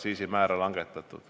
– aktsiisimäära langetatud.